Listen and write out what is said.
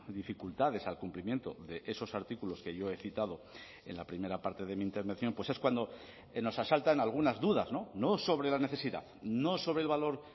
dificultades al cumplimiento de esos artículos que yo he citado en la primera parte de mi intervención pues es cuando nos asaltan algunas dudas no sobre la necesidad no sobre el valor